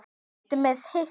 Ertu með hita?